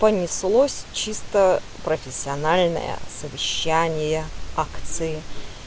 понеслось чисто профессиональное совещание акции